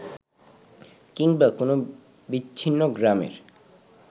কিংবা কোনো বিচ্ছিন্ন গ্রামের